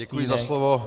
Děkuji za slovo.